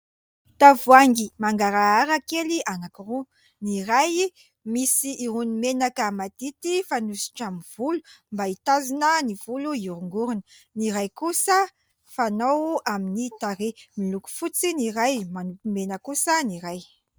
Tavoahangy mangarahara kely anankiroa: ny iray misy irony menaka madity fanosotra amin'ny volo, mba hitazona ny volo hiorongorona, ny iray kosa fanao amin'ny tarehy. Miloko fotsy ny iray, manompy mena kosa ny iray